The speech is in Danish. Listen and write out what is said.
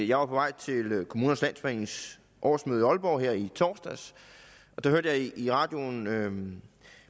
jeg var på vej til kommunernes landsforenings årsmøde i aalborg her i torsdags og der hørte jeg i radioen